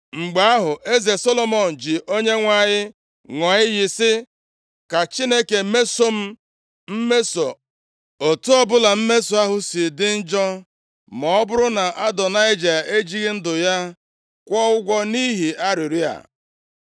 Mgbe ahụ, eze Solomọn ji Onyenwe anyị ṅụọ iyi sị, “Ka Chineke mesoo m mmeso, otu ọbụla mmeso ahụ si dị njọ, ma ọ bụrụ na Adonaịja ejighị ndụ ya kwụọ ụgwọ nʼihi arịrịọ a.